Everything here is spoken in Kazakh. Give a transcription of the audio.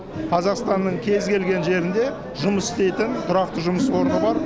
қазақстанның кез келген жерінде жұмыс істейтін тұрақты жұмыс орны бар